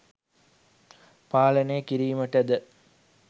පාලනය කිරීමටද